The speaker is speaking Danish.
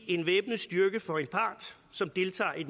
en væbnet styrke for en part som deltager i